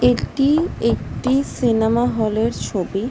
এটি একটি cinema hall -এর ছবি--